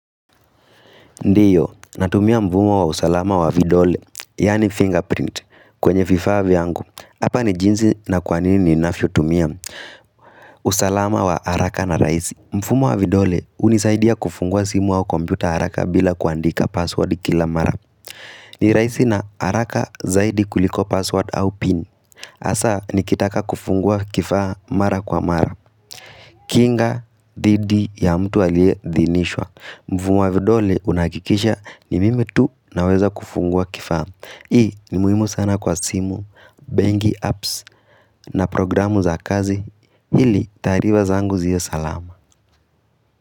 Ndiyo, natumia mvumo wa usalama wa vidole, yaani fingerprint, kwenye vifaa viyangu. Hapa ni jinzi na kwa nini ninavyo tumia. Usalama wa haraka na rahisi. Mvumo wa vidole, hunisaidia kufungua simu au kompyuta haraka bila kuandika passwordi kila mara. Ni rahisi na haraka zaidi kuliko password au pin. Hasaa, nikitaka kufungua kifaa mara kwa mara. Kinga dhidi ya mtu aliedhinishwa. Mfumo wa vidole unahakikisha ni mimi tu naweza kufungua kifaa Hii ni muhimu sana kwa simu, bengi, apps na programu za kazi ili taario zangu ziwe salama.